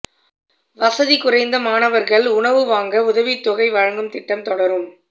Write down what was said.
வசதி குறைந்த மாணவர்கள் உணவு வாங்க உதவித்தொகை வழங்கும் திட்டம் தொடரும்